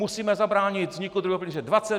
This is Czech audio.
Musíme zabránit vzniku druhého pilíře.